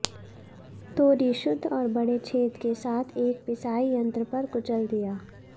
तोरी शुद्ध और बड़े छेद के साथ एक पिसाई यंत्र पर कुचल दिया